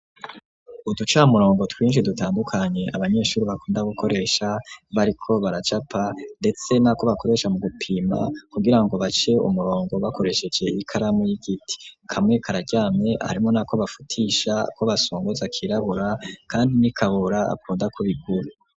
Uducamurongo twinshi dutandukanye abanyeshuri bakunda gukoresha bariko baracapa ndetse na ko bakoresha mu gupima kugirango bace umurongo bakoresheje ikaramu y'igiti, kamwe karajyamye harimo na ko bafutisha ko basongoza kirabura kandi n'ikabura apunda ku bigura.